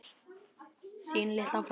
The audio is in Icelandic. Þín litla frænka.